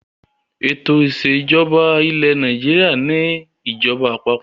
Ètò ìṣèjọba ilẹ̀ Nàìjíríà ni ìjọba àpapọ̀.